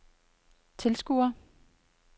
tilskuere